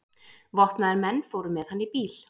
Vopnaðir menn fóru með hann í bíl.